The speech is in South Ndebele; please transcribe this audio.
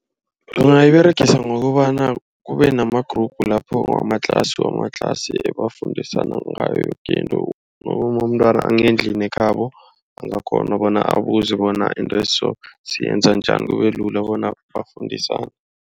Bona iberegisa ngokobana kube nama-group lapho amatlasi. Wamatlasi ebafundisana ngayo yoke into noma umntwana angendlini ekhabo. Angakghona bona abuze bona into eso siyenza njani kube lula bona bafundisana.